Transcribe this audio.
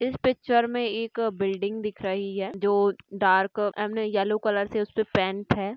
इस पिक्चर मे एक बिल्डिंग दिख रही है जो dark I mean yellow colour से उसपे पेंट है।